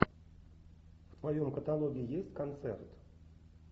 в твоем каталоге есть концерт